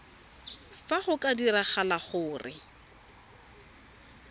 fa go ka diragala gore